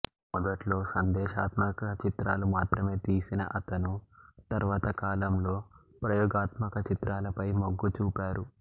మొదట్లో సందేశాత్మక చిత్రాలు మాత్రమే తీసిన అతను తర్వాత కాలం లో ప్రయోగాత్మక చిత్రాలపై మొగ్గు చూపారు